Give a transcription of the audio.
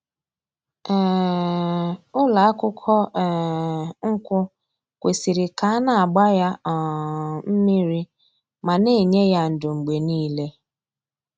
um Ụlọ akwụkwọ um nkwụ kwesiri ka a na-agba ya um mmiri ma na-enye ya ńdó mgbe niile